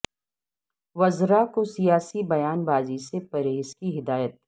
وزرا کو سیاسی بیان بازی سے پرہیز کی ہداہت